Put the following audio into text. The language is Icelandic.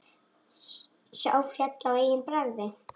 Sá féll á eigin bragði!